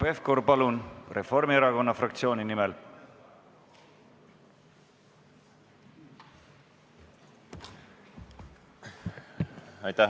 Hanno Pevkur, palun, Reformierakonna fraktsiooni nimel!